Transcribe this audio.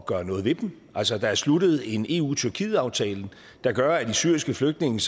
gøre noget ved dem altså der er sluttet en eu tyrkiet aftale der gør at de syriske flygtninge